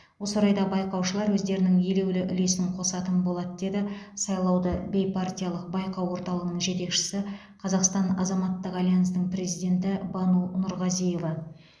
осы орайда байқаушылар өздерінің елеулі үлесін қосатын болады деді сайлауды бейпартиялық байқау орталығының жетекшісі қазақстан азаматтық альянсының президенті бану нұрғазиева